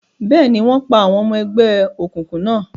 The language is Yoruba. Bẹ́ẹ̀ni, wọ́n pa àwọn ọmọ ẹgbẹ́ òkùnkùn náà.